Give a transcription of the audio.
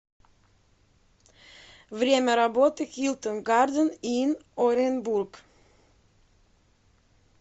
время работы хилтон гарден ин оренбург